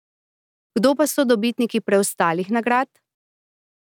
Kdo pa so dobitniki preostalih nagrad?